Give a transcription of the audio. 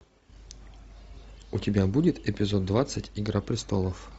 у тебя будет эпизод двадцать игра престолов